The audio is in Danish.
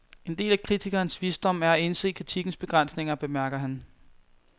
En del af kritikerens visdom er at indse kritikkens begrænsninger, bemærker han.